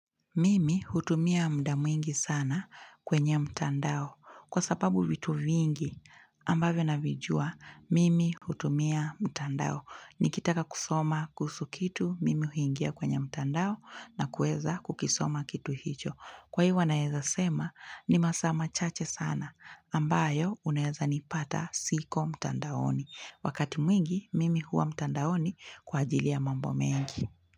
Mimi hutumia muda mwingi sana kwenye mtandao, kwa sababu vitu vingi ambavyo navijua, mimi hutumia mtandao. Nikitaka kusoma kuhusu kitu, mimi huingia kwenye mtandao na kuweza kukisoma kitu hicho. Kwa iwa naweza sema ni masaa machache sana ambayo unaweza nipata siko mtandaoni. Wakati mwingi mimi huwa mtandaoni kwa ajili ya mambo mengi.